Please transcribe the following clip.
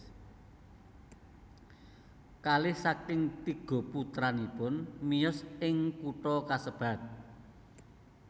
Kalih saking tiga putranipun miyos ing kutha kasebat